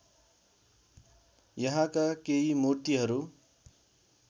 यहाँका केही मूर्तिहरू